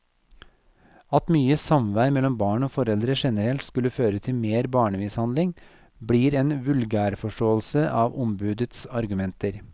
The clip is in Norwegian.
At mye samvær mellom barn og foreldre generelt skulle føre til mer barnemishandling, blir en vulgærforståelse av ombudets argumenter.